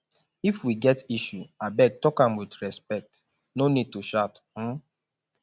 if we get issue abeg talk am with respect no need to shout um